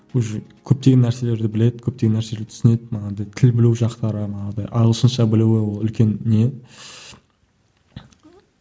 уже көптеген нәрселерді біледі көптеген нәрселерді түсінеді манағыдай тіл білу жақтары манағыдай ағылшынша білуі үлкен не